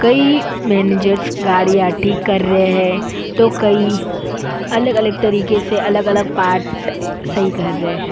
कई मैनेजर्स गाड़ियां ठीक कर रहे हैं तो कई अलग-अलग तरीके से अलग-अलग पार्ट सही कर रहे हैं।